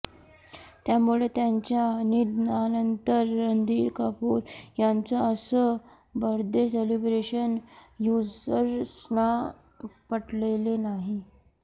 त्यामुळे त्यांच्या निधनानंतर रणधीर कपूर यांचं असं बर्थडे सेलिब्रेशन युझर्सना पटलेलं नाही